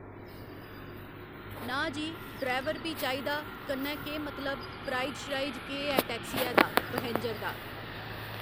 ना जी ड्राईवर बी चाहिदा कन्नै केह् मतलब प्राईज श्राइज केह् ऐ टैक्सियै दा पैहेंजर दा